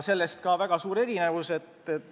Sellest ka väga suur erinevus.